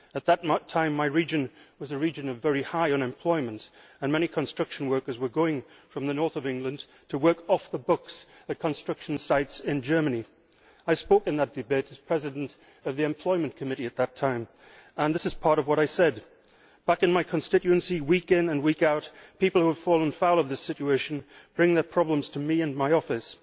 At that time, my region was a region of very high unemployment and many construction workers were going from the north of England to work off the books at construction sites in Germany. I spoke in that debate as Chair of the Committee on Employment and Social Affairs at that time, and this is part of what I said back in my constituency, week in and week out, people who have fallen foul of this situation bring their problems to me and my office